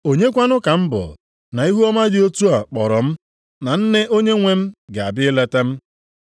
Onye kwanụ ka m bụ na ihuọma dị otu a kpọrọ m na nne Onyenwe m ga-abịa ileta m?